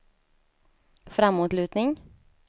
framåtlutning